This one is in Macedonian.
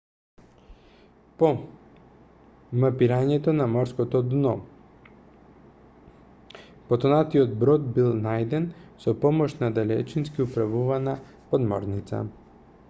по мапирањето на морското дно потонатиот брод бил најден со помош на далечински управувана подморница